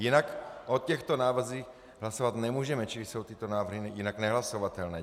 Jinak o těchto návrzích hlasovat nemůžeme, čili jsou tyto návrhy jinak nehlasovatelné.